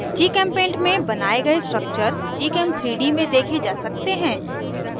gchempaint में बनाये गए structures gchem3d में देखे जा सकते हैं